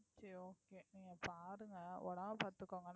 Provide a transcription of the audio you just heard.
சரி okay நீங்க பாருங்க உடம்பை பார்த்துக்கோங்க